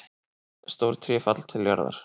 Stór tré falla til jarðar.